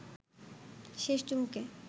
শেষ চুমুকে